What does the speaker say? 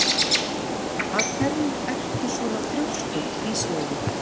Af hverju ertu svona þrjóskur, Ísleifur?